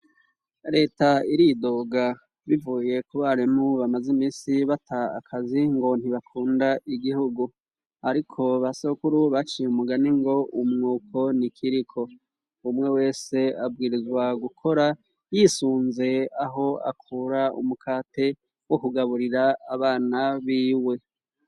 leta iridoga ,bivuye ku barimu bamaze imisi bata akazi ngo ntibakunda igihugu, ariko basakuru baciye umugani ngo umwiko nikiriko ,umwe wese abwirizwa gukora yisunze aho akura umukate wo kugaburira abana b'iwe.